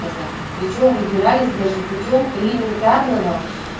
тозаков причём выбирались даже путём элементарного